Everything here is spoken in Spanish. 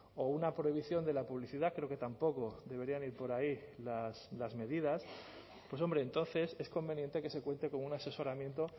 o una prohibición de la publicidad creo que tampoco deberían ir por ahí las medidas pues hombre entonces es conveniente que se cuente con un asesoramiento